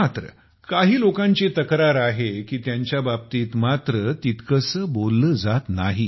मात्र काही लोकांची तक्रार आहे की त्यांच्या बाबतीत मात्र तितकेसे बोलले जात नाही